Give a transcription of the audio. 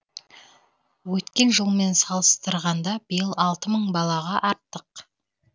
өткен жылмен салыстырғанда биыл алты мың балаға артық